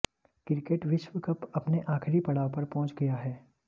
cricket विश्वकप अपने आखिरी पड़ाव पर पहुंच गया है